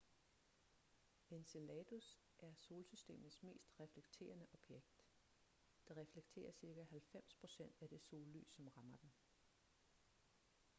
enceladus er solsystemets mest reflekterende objekt det reflekterer cirka 90 procent af det sollys som rammer den